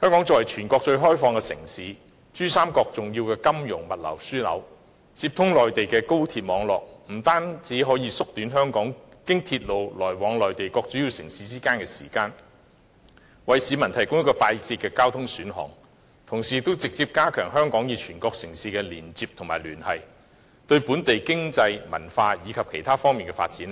香港作為全國最開放的城市，珠江三角洲重要的金融和物流樞紐，接通內地的高鐵網絡，不單可以縮短經鐵路來往香港和內地各主要城市的時間，為市民提供一個快捷的交通選項，同時也直接加強香港與全國城市的連接及聯繫，對本地經濟、文化及其他方面的發展